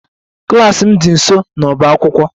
Klas m dị nso n'ọbá akwụkwọ